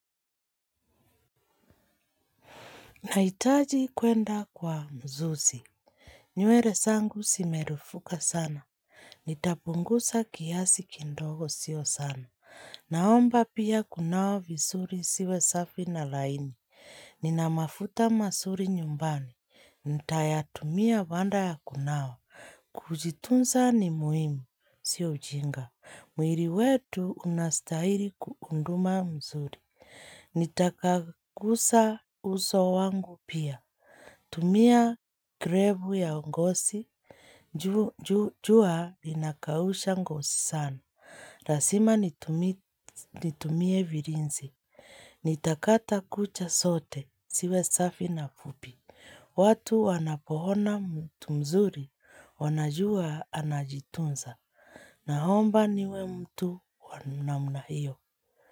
Nahitaji kuenda kwa mzuzi. Nywele zangu zimerufuka sana. Nitapunguza kiasi kidogo sio sana. Naomba pia kunawa vizuri ziwe safi na laini. Nina mafuta mazui nyumbani, nitayatumia baada ya kunawa. Kujitunza ni muhimu, si ujinga. Mwili wetu unastahili kudumu vizuri. Nitapanguza uso wangu pia. Tumia krebu ya ongosi, jus linakausha ngozi sana. Lazima nitumie vilinzi Nitakata kucha zote, siwe safi na fupi watu wanapo ona mtu mzuri, wanajua anajitunza. Naomba niwe mtu wa namna hiyo.